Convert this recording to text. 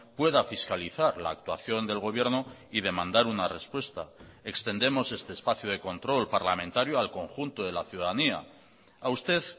pueda fiscalizar la actuación del gobierno y demandar una respuesta extendemos este espacio de control parlamentario al conjunto de la ciudadanía a usted